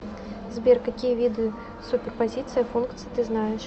сбер какие виды суперпозиция функций ты знаешь